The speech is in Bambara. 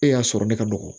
E y'a sɔrɔ ne ka nɔgɔn